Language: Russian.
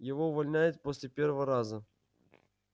его увольняют после первого раза